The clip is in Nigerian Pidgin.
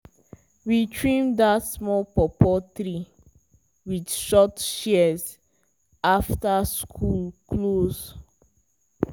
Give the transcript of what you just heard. we trim that small pawpaw tree with short shears after school close.